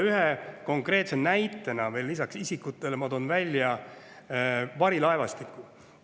Ühe konkreetse näitena lisaks isikutele toon ma välja varilaevastiku.